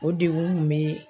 O degun kun be